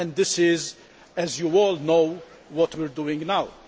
This is, as you all know, what we are doing now.